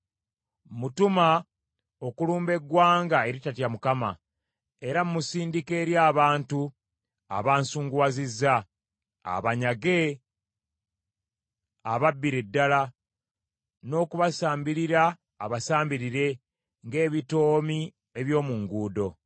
Mmutuma okulumba eggwanga eritatya Mukama , era mmusindika eri abantu abansunguwazizza, abanyage, ababbire ddala, n’okubasambirira abasambirire ng’ebitoomi eby’omu nguudo.